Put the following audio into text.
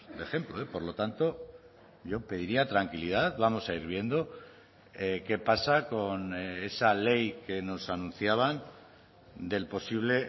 de ejemplo por lo tanto yo pediría tranquilidad vamos a ir viendo qué pasa con esa ley que nos anunciaban del posible